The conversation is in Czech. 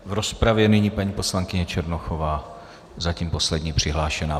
V rozpravě nyní paní poslankyně Černochová, zatím poslední přihlášená.